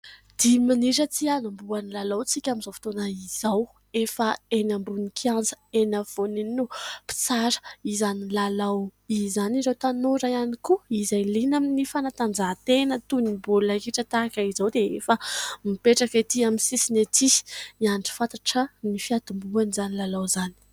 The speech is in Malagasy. Dimy minitra tsy anombohan'ny lalao isika amin'izao fotoana izao ; efa eny ambony kianja eny afovoany eny ny mpitsara izany lalao izany. Ireo tanora ihany koa izay liana amin'ny fanatanjahantena toy ny baolina kitra tahaka izao dia efa mipetraka ety amin'ny sisiny ety miandry fatratra ny fiatombohan'izany lalao izany.